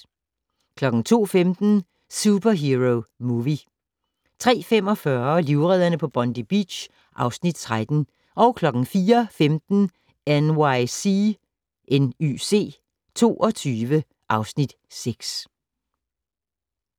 02:15: Superhero Movie 03:45: Livredderne på Bondi Beach (Afs. 13) 04:15: NYC 22 (Afs. 6)